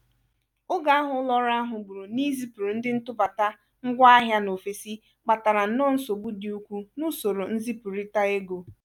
oge ahụ ụlo-ọru ahụ gburu n'izipuru ndị ntụbata ngwa ahịa n'ofesi kpatara nnọ nsogbụ dị ukwuu n'usoro nzipụrita ego.